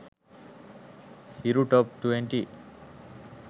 hiru top 20